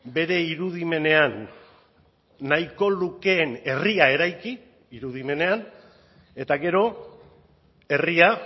bere irudimenean nahiko lukeen herria eraiki irudimenean eta gero herria